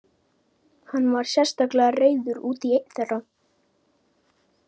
Hann var sérstaklega reiður út í einn þeirra.